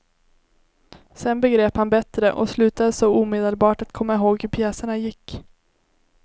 Sen begrep han bättre och slutade så omedelbart att komma ihåg hur pjäserna gick.